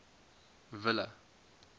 ville